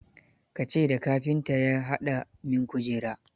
Ka ce da kafinta ya haɗa min kujera.